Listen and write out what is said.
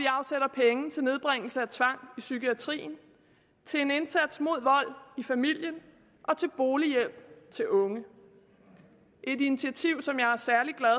og nedbringelse af tvang i psykiatrien til en indsats mod vold i familien og til bolighjælp til unge et initiativ som jeg er særlig glad